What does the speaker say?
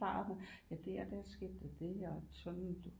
Og forklarede ja der der skete der det og sådan